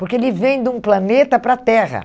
Porque ele vem de um planeta para a Terra.